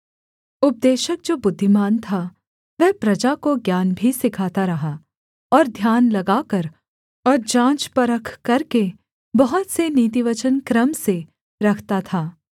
उपदेशक जो बुद्धिमान था वह प्रजा को ज्ञान भी सिखाता रहा और ध्यान लगाकर और जाँचपरख करके बहुत से नीतिवचन क्रम से रखता था